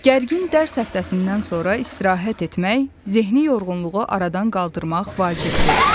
Gərgin dərs həftəsindən sonra istirahət etmək, zehni yorğunluğu aradan qaldırmaq vacibdir.